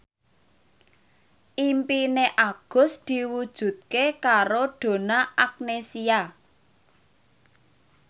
impine Agus diwujudke karo Donna Agnesia